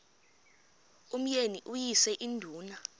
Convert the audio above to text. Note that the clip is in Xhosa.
umyeni uyise iduna